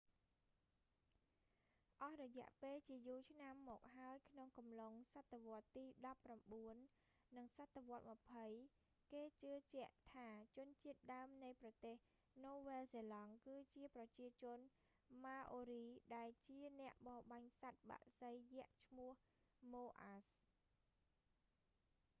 អស់រយៈពេលជាយូរមកហើយក្នុងកំឡុងសតវត្សទីដប់ប្រាំបួន និងសតវត្សម្ភៃ គេជឿជាក់ថាជនជាតិដើមនៃប្រទេសនូវែលសេឡង់ គឺជាប្រជាជន maori ដែលជាអ្នកបរបាញ់សត្វបក្សីយក្សឈ្មោះ moas